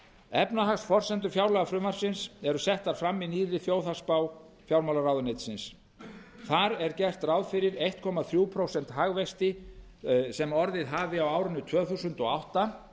efnahagsforsendur fjárlagafrumvarpsins eru settar fram í nýrri þjóðhagsspá fjármálaráðuneytisins þar er gert ráð fyrir einn komma þriggja prósenta hagvexti sem orðið hafi á árinu tvö þúsund og átta